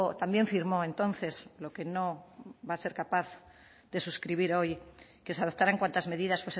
también firmó entonces lo que no va a ser capaz de suscribir hoy que se adoptaran cuantas medidas